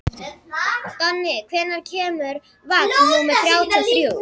Donni, hvenær kemur vagn númer þrjátíu og þrjú?